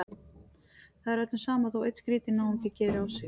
Það er öllum sama þótt einn skrýtinn náungi geri á sig.